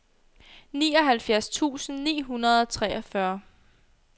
nioghalvfjerds tusind ni hundrede og treogfyrre